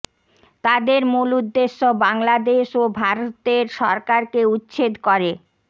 তাদের মূল উদ্দেশ্য বাংলাদেশ ও ভারতের সরকারকে উচ্ছেদ করে